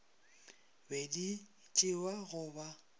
be di tšewa go ba